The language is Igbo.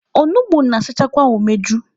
Onugbu na-asachakwa umeju.